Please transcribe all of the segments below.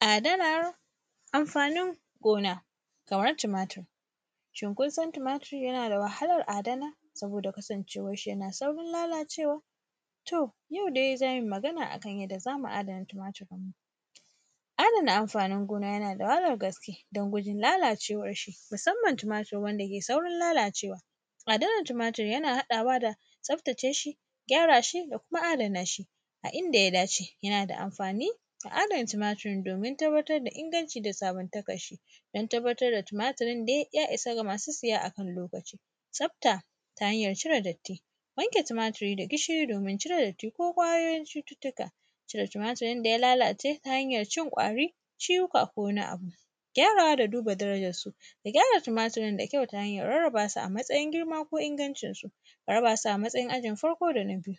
Adana amfanin gona, kamar tumatur, cinkoson tumatur yana da wahalar adana saboda kasancewar shi yana saurin lalacewa. Toh yau dai za mu yi magana akan yadda za mu adana tumatur ɗin mu. Adana amfanin gona yana da wahalar gaske don gudun lalacewar shi musamman tumatur wanda ke saurin lalacewa. Adanar tumatur yana haɗawa da tsabtace shi, gyara shi da kuma adana shi a inda ya dace. Yana da amfani a adana tumatur domin tabbatar da inganci da sabuntakar shi don tabbatar da tumaturin dai ya isa ga masu siya akan lokaci. Tsabta ta hanyar cire datti, wanke tumaturi da gishiri domin cire datti ko ƙwayoyin cututtuka, cire tuaturin da ya lalace`ta hanyar cin ƙwari, ciwuka ko wani abu, gyarawa da duba darajar su da gyara tumaturin da kyau ta hanyar rarraba su a matsayin girma ko ingancin su a raba su a matsayin ajin farko da na biyu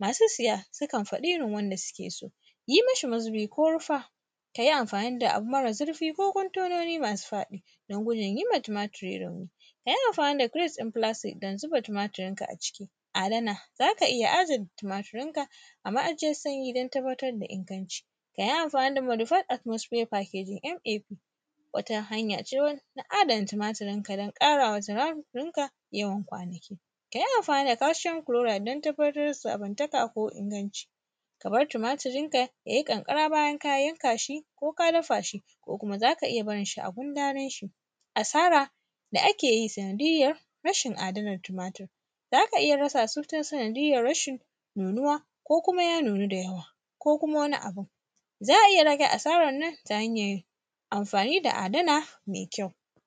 Masu siya sukan faɗi irin wanda suke so yi mashi mazubi ko rufa ka yi amfani da abu mara zurfi ko contononi masu faɗi don gudun yi ma tumatur rauni. A yi amfani da crates na plastics don zuba tumaturin ka a ciki. Adana, za ka iya adana tumaturin ka a ma’ajiyar sanyi don tabbatar da ingancin. A yi amfani da modifier atmost paper KDMA wata hanya ce ta adana tumaturin ka don ƙarawa tumaturin ka yawan kwanaki. Ka yi amfani da calcioun clora don tabbatar da sabontakar ko inganci. Ka bar tumaturin ka ya yi ƙanƙara bayan ka yanka shi ko ka dafa shi ko kuma zaka iya barin shi a gundarin shi. Asara da ake yi sanadiyyar rashin adanar tumatur zaka iya rasa su ta sanadiyyar rashin nunuwa ko kuma ya nuna da yawa ko kuma wani abin. Za a iya rage asarar nan ta hanyar amfani da adana mai kyau.